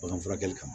Bagan furakɛli kama